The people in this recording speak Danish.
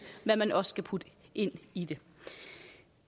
hvad man også kan putte ind i det